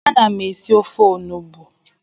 Ana m esi ofe onugbu